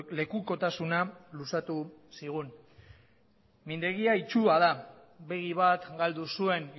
lekukotasuna luzatu zigun mindegia itsua da begi bat galdu zuen